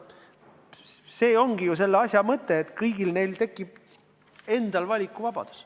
See ongi ju asja mõte, et kõigil neil tekib valikuvabadus.